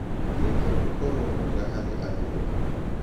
Geria gũkorũo mwega harĩ andũ othe.